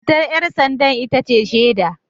Matar ‘yar sanda ita ce shaida